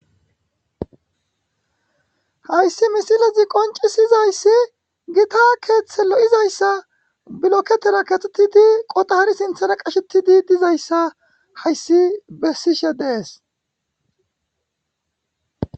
hayssi misilazi qoncisizayssi gita keeththe lo7izayssa biloketera katetidi qotari sinthara qashetidi dizayssa hayssi bessishe dees